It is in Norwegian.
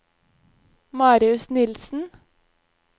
Marius Nilsen